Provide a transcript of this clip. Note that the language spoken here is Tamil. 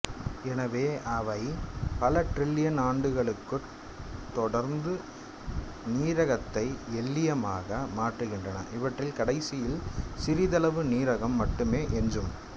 எனவே அவை பல டிரில்லியன் ஆண்டுகட்குத் தொடர்ந்து நீரகத்தை எல்லியமாக மாற்றுகின்றன இவற்றில் கடைசியில் சிறதளவு நீரகம் மட்டுமே எஞ்சும்